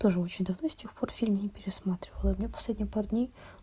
тоже очень давно с тех пор фильм не пересматривала и мне последние пару дней